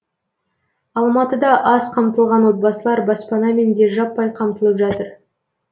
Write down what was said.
алматыда аз қамтылған отбасылар баспанамен де жаппай қамтылып жатыр